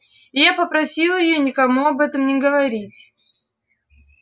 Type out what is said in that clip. и я попросил её никому об этом не говорить